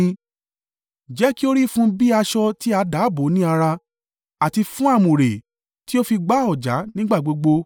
Jẹ́ kí ó rí fún un bí aṣọ tí a dà bò ó ní ara, àti fún àmùrè tí ó fi gba ọ̀já nígbà gbogbo.